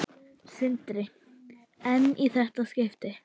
Sindri: En í þetta skipti?